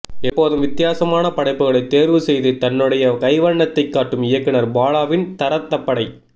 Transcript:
எப்போதும் வித்தியாசமான படைப்புக்களை தேர்வு செய்து தன்னுடைய கைவண்ணத்தைக் காட்டும் இயக்குனர் பாலாவின் தரதப்படை